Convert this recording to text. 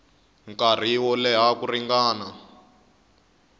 nkarhi wo leha ku ringana